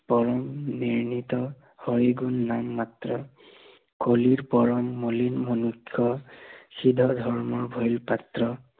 পৰম বিনীত, হৰি গুণ নাম মাত্ৰে, কলিৰ পৰম মলিন মনুষ্য় হৃদ ধৰ্ম ভয়ো পাত্ৰ